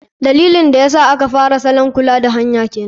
Dalilin da yasa aka fara salaman ƴn kula da kan hanya kenan.